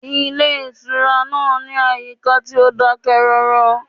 Ilé ìtura náà ní àyíká tí ó dákẹ́rọ́rọ́